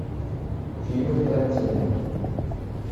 фильмы тарантино